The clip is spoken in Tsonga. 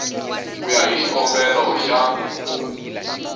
ku ya hi xikombelo xa